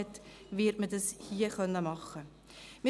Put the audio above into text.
Hier wird man es machen können.